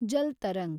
Jal tarang